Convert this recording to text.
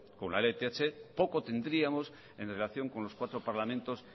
con la lth poco tendríamos en relación con los cuatro parlamentos